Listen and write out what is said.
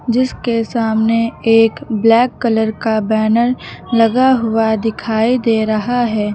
जिसके सामने एक ब्लैक कलर का बैनर लगा हुआ दिखाई दे रहा है।